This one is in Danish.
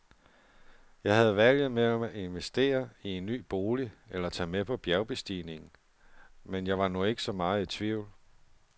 Jeg havde valget mellem at investere i en ny bolig eller tage med på bjergbestigningen, men jeg var nu ikke så meget i tvivl.